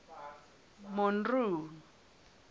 monroe